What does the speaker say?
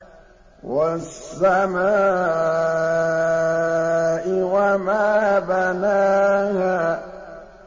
وَالسَّمَاءِ وَمَا بَنَاهَا